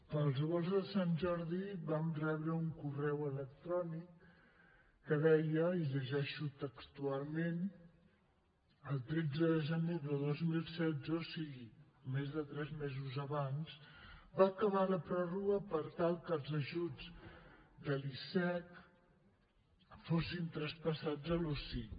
pels volts de sant jordi vam rebre un correu electrònic que deia i llegeixo textualment el tretze de gener de dos mil setze o sigui més de tres mesos abans va acabar la pròrroga per tal que els ajuts de l’icec fossin traspassats a l’osic